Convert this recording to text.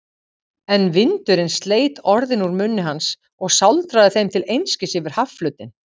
En vindurinn sleit orðin úr munni hans og sáldraði þeim til einskis yfir hafflötinn.